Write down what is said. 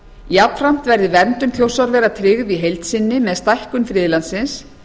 jafnframt verði verndun þjórsárvera tryggð í heild sinni með stækkun friðlandsins